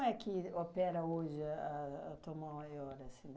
como é que opera hoje a a a Tom Ma Maior, assim?